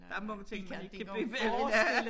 Der nogle ting man ikke kan byde bellana